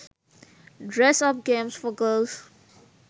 dress up games for girls